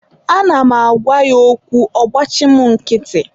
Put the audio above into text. Ana m agwa ya okwu, ọ gbachi mụ nkịtị.